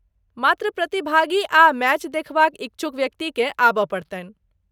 मात्र प्रतिभागी आ मैच देखबाक इच्छुक व्यक्तिकेँ आबय पड़तनि।